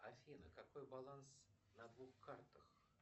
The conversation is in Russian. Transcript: афина какой баланс на двух картах